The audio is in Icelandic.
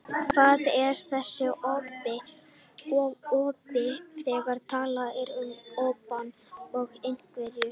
Hver er þessi obbi, þegar talað er um obbann af einhverju?